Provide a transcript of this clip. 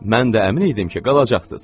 Mən də əmin idim ki, qalacaqsız.